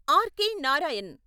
R K. Narayan